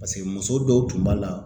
Paseke muso dɔw tun b'a la